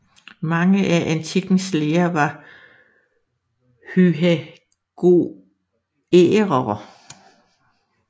Mange af antikkens læger var pythagoræere